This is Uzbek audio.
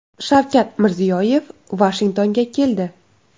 Shavkat Mirziyoyev Vashingtonga keldi .